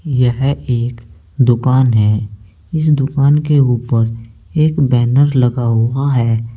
यह एक दुकान है इस दुकान के ऊपर एक बैनर लगा हुआ है।